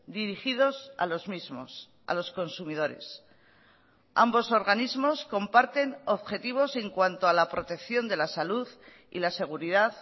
dirigidos a los mismos a los consumidores ambos organismos comparten objetivos en cuanto a la protección de la salud y la seguridad